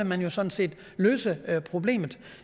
man jo sådan set løse problemet